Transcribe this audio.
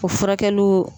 O furakɛliw